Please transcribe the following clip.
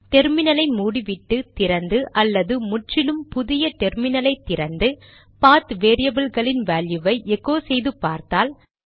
டெர்மினலை மூடிவிட்டு திறந்து அல்லது முற்றிலும் புதிய டெர்மினலை திறந்து பாத் வேரியபில்களின் வேல்யுவை எகோ செய்து பார்த்தால்